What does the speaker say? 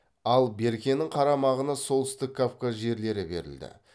ал беркенің қарамағына солтүстік кавказ жерлері берілді